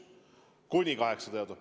Kuni 800 eurot!